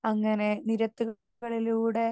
speaker 2 അങ്ങനെ നിരത്തുകളിലൂടെ